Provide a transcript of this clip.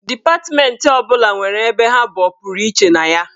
Dipatmentị ọ bụla nwere ebe ha bụ ọpụrụiche na ya.